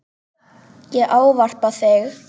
Ég ávarpa þig